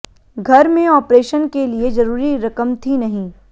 घर में ऑपरेशन के लिए जरूरी रकम थी नहीं